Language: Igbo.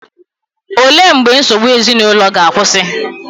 Olee mgbe nsogbu ezinụlọ ga-akwụsị?